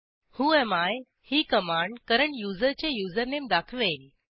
whoami ही command current युजरचे username दाखवेल